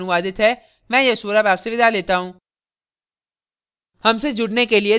यह स्क्रिप्ट प्रभाकर द्वारा अनुवादित है मैं यश वोरा अब आपसे विदा लेता हूँ